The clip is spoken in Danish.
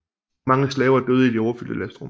Mange slaver døde i de overfyldte lastrum